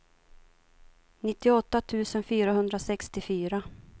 nittioåtta tusen fyrahundrasextiofyra